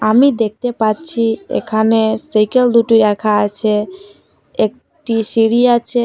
আমি দেখতে পাচ্ছি এখানে সাইকেল দুটি রাখা আছে একটি সিঁড়ি আছে।